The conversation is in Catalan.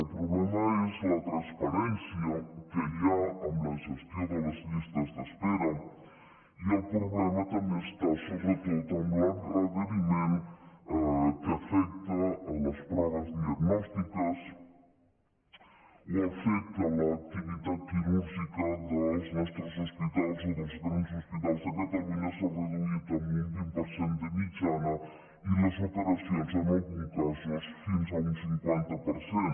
el problema és la transparència que hi ha amb la gestió de les llistes d’espera i el problema també està sobretot amb l’endarreriment que afecta les proves diagnòstiques o al fet que l’activitat quirúrgica dels nostres hospitals o dels gran hospitals de catalunya s’ha reduït en un vint per cent de mitjana i les operacions en alguns casos fins a un cinquanta per cent